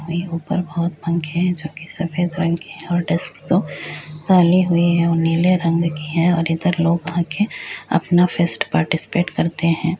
भाई ऊपर बहुत पंखे है जोकि सफेद रंग के हैं और डेस्क तो काले हुए हैं और नीले रंग के हैं और इधर लोग आके अपना फर्स्ट पार्टसिपेट करते हैं।